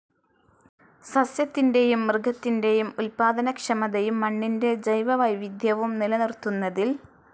സസ്യത്തിൻ്റെയും മൃഗത്തിൻ്റെയും ഉൽപ്പാദനക്ഷമതയും മണ്ണിൻ്റെ ജൈവവൈവിധ്യവും നിലനിർത്തുന്നതിൽ